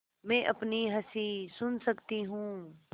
मैं अपनी हँसी सुन सकती हूँ